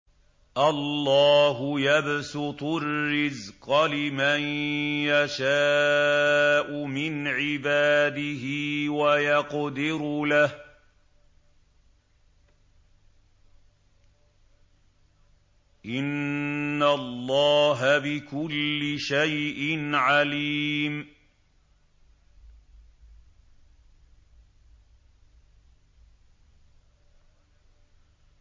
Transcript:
اللَّهُ يَبْسُطُ الرِّزْقَ لِمَن يَشَاءُ مِنْ عِبَادِهِ وَيَقْدِرُ لَهُ ۚ إِنَّ اللَّهَ بِكُلِّ شَيْءٍ عَلِيمٌ